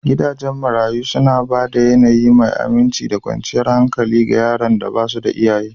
Gidajen marayu suna ba da yAnayi mai aminci da kwanciyar hankali ga yaran da ba su da iyaye